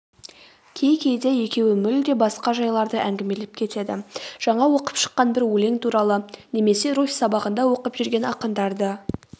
кей-кейде екеуі мүлде басқа жайларды әңгімелеп кетеді жаңа оқып шыққан бір өлең туралы немесе руфь сабағында оқып жүрген ақындарды